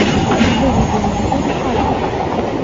выведи мне фильм альфа